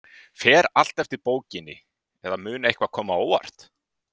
Fer allt eftir bókinni, eða mun eitthvað koma á óvart?